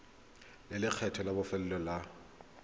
le lekgetho la bofelo la